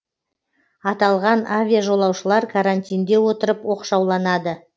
аталған авиажолаушылар карантинде отырып оқшауланады